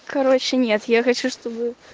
короче нет я хочу чтобы